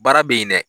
Baara bɛ yen dɛ